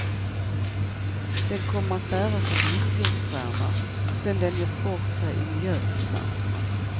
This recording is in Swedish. Den kommer att bäras av villkorsskärmar, sen den gjort bort sig i miljöinstanserna.